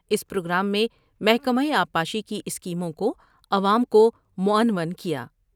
اس programme میں محکمہ آبپاشی کی اسکیموں کو عوام کو معنون کیا ۔